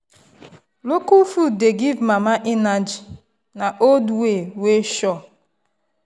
local food dey give mama energy na old way wey sure.